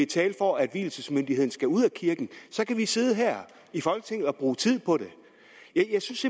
tale for at vielsesmyndigheden skal ud af kirken så kan vi sidde her i folketinget og bruge tid på det jeg synes